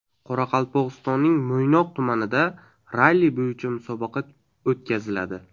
Qoraqalpog‘istonning Mo‘ynoq tumanida ralli bo‘yicha musobaqa o‘tkaziladi.